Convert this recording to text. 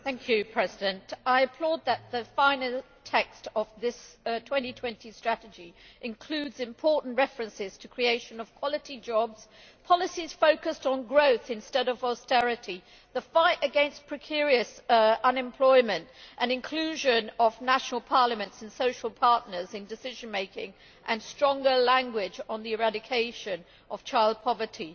Mr President, I applaud the fact that the final text of this 2020 Strategy includes important references to the creation of quality jobs, policies focused on growth instead of austerity, the fight against precarious employment and the inclusion of national parliaments and social partners in decision making, and stronger language on the eradication of child poverty.